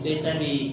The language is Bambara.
E ta ni